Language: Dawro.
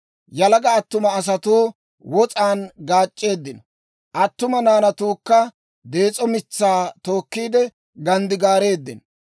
Yalaga attuma asatuu wos'aan gaac'c'eeddino; attuma naanatuukka dees'o mitsaa tookkiide ganddigaareeddino.